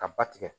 Ka ba tigɛ